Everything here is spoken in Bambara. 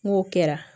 N'o kɛra